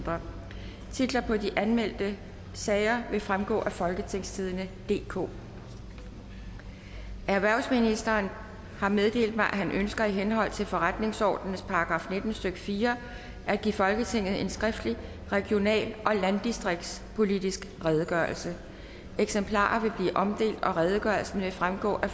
fyrre titler på de anmeldte sager vil fremgå af folketingstidende DK erhvervsministeren har meddelt mig at han ønsker i henhold til forretningsordenens § nitten stykke fire at give folketinget en skriftlig regional og landdistriktspolitisk redegørelse eksemplarer vil blive omdelt og redegørelsen vil fremgå af